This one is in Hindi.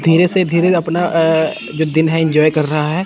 धीरे से धीरे से अपना दिन है एंजॉय कर रहा हैं।